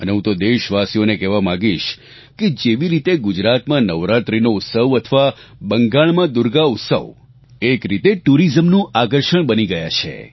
અને હંે તો દેશવાસીઓને કહેવા માંગીશ કે જેવી રીતે ગુજરાતમાં નવરાત્રીનો ઉત્સવ અથવા બંગાળમાં દુર્ગા ઉત્સવ એક રીતે ટુરીઝમનું આકર્ષણ બની ગયા છે